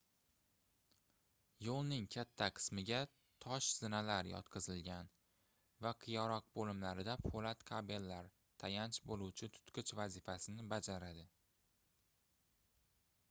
yoʻlning katta qismiga tosh zinalar yotqizilgan va qiyaroq boʻlimlarida poʻlat kabellar tayanch boʻluvchi tutqich vazifasini bajaradi